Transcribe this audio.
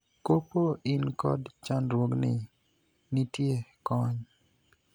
Kopo in kod chandruogni, nitie kony.